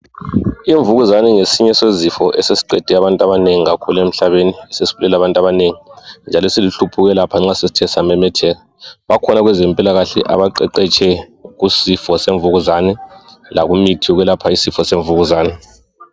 Imvukuzane ngesinye sezifo esesiqede abantu kakhulu emhlabeni sesibulele abantu abanengi njalo siluhlupho kakhulu nxa sesithe samemetheke bakhona kwezempilakahle abaqeqetshe kusifo semvukuzane lokuyelapha isifo semvukuzane